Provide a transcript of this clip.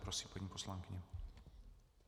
Prosím, paní poslankyně.